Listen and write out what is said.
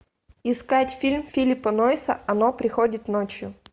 искать фильм филлипа нойса оно приходит ночью